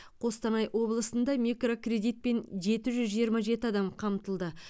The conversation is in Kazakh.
қостанай облысында микрокредитпен жеті жүз жиырма жеті адам қамтылды